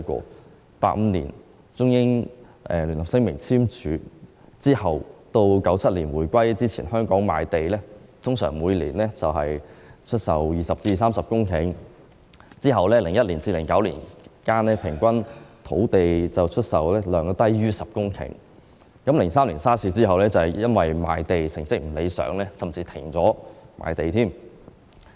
在1985年簽署《中英聯合聲明》後至1997年香港回歸之前，香港出售的土地每年通常為20公頃至30公頃，而在2001年至2009年間，平均土地出售量低於10公頃 ；2003 年 SARS 之後，由於賣地成績不理想，甚至停止賣地。